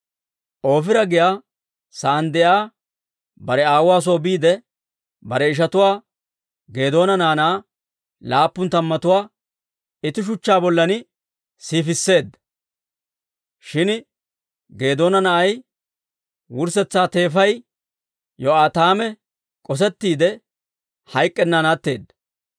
Oofira giyaa saan de'iyaa bare aawuwaa soo biide, bare ishatuwaa, Geedoona naanaa laappun tammatuwaa, itti shuchchaa bollan siifisseedda. Shin Geedoona na'ay, wurssetsa teefay, Yo'aataame k'osettiide, hayk'k'ennan atteedda.